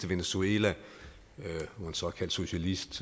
venezuela hvor en såkaldt socialist